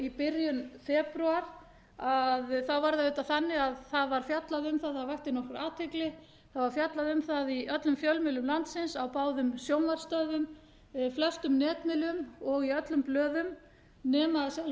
i byrjun febrúar var það auðvitað þannig að það var fjallað um það og vakti nokkra athygli það var fjallað um það í öllum fjölmiðlum landsins á báðum sjónvarpsstöðvum á flestum netmiðlum og í öllum blöðum nema að